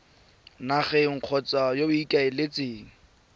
nageng kgotsa yo o ikaeletseng